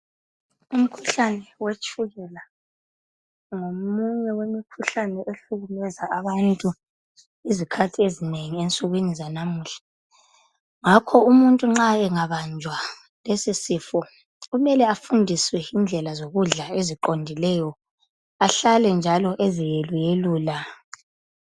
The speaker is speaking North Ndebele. Umkhuhlane wetshukela ngomunye wemkhuhlane ohlukumeza abantu izikhathi ezinengi ensukwini zanamuhla. Ngakho umuntu nxa engabanjwa lesi sifo kumele afundiswe indlela zokudla eziqondileyo ahlale njalo eziyeluyelula.